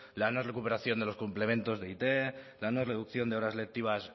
la no recuperación de los complementos de it la no reducción de horas lectivas